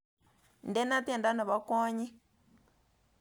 Indene tyendo nebo kwonyik